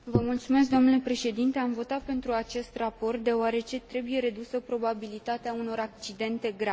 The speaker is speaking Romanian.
Am votat pentru acest raport, deoarece trebuie redusă probabilitatea unor accidente grave.